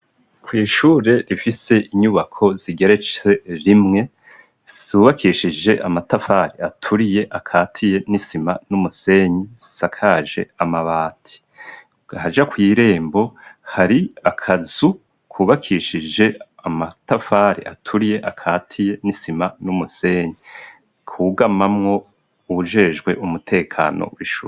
Kw'ishure rifise inyubako zigeretse rimwe zubakishije amatafari aturiye akatiye n'isima n'umusenyi zisakaje amabati. Ahaja kw' irembo hari akazu kubakishije amatafari aturiye akatiye n'isima n'umusenyi ku gamamwo ujejwe umutekano w'ishure.